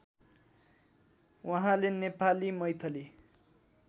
उहाँले नेपाली मैथिली